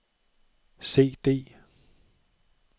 CD